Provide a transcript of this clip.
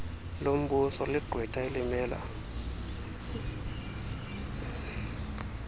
lombuso ligqwetha elimela